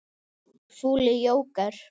Fúli jóker.